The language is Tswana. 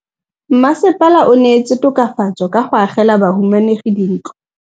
Mmasepala o neetse tokafatsô ka go agela bahumanegi dintlo.